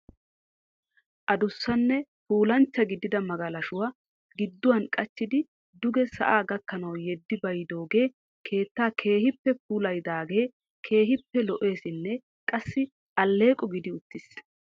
Addussanne puulanchcha gidida magalashshuwaa gidduwaan qachchidi duge sa'aa gakkanaw yedi bayyidooge keettaa keehippe puulayyidaage keehippe lo"essinne qassi alleeqo gidi uttiis.